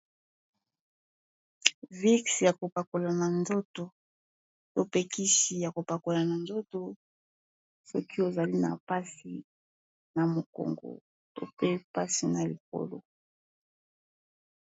Vix ya kopakola na nzoto to pe kisi ya kopakola na nzoto soki ozali na mpasi na mokongo to pe mpasi na likolo.